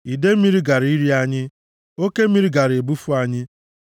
idee mmiri gaara iri anyị, oke mmiri gaara ebufu anyị,